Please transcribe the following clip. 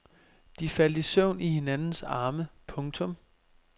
De faldt i søvn i hinandens arme. punktum